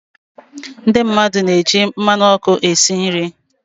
Ndị mmadụ na-eji mmanụ ọkụ esi nri.